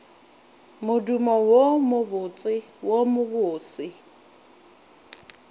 modumo wo mobotse wo mobose